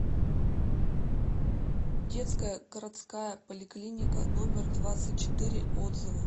детская городская поликлиника номер двадцать четыре отзывы